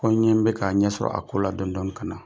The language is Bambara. Ko n ɲɛ bɛ k'a ɲɛsɔrɔ a ko la dɔƆnin dɔƆnin ka na,